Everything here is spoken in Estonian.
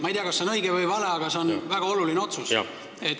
Ma ei tea, kas see on õige või vale, aga see on väga oluline otsus.